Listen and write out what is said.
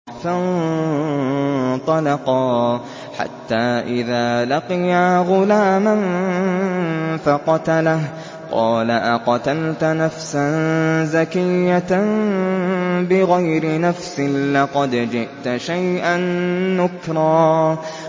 فَانطَلَقَا حَتَّىٰ إِذَا لَقِيَا غُلَامًا فَقَتَلَهُ قَالَ أَقَتَلْتَ نَفْسًا زَكِيَّةً بِغَيْرِ نَفْسٍ لَّقَدْ جِئْتَ شَيْئًا نُّكْرًا